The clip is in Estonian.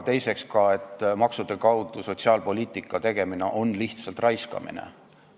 Teine seisukoht on, et maksude kaudu sotsiaalpoliitika tegemine on lihtsalt raiskamine.